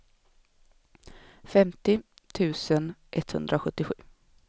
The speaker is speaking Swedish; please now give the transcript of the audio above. femtio tusen etthundrasjuttiosju